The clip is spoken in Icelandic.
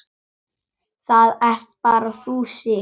Það ert bara þú, Sif.